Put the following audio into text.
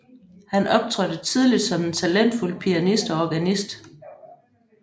Han optrådte tidligt som en talentfuld pianist og organist